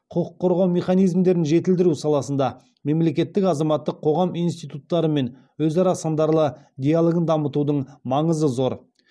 құқық қорғау механизмдерін жетілдіру саласында мемлекеттің азаматтық қоғам институттарымен өзара сындарлы диалогын дамытудың маңызы зор